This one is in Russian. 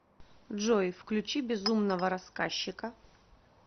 джой включи безумного рассказчика